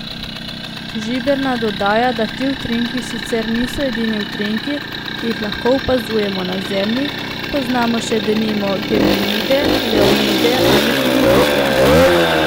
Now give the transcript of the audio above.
Žiberna dodaja, da ti utrinki sicer niso edini utrinki, ki jih lahko opazujemo na Zemlji, poznamo še, denimo, geminide, leonide ali liride.